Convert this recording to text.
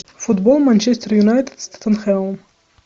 футбол манчестер юнайтед с тоттенхэмом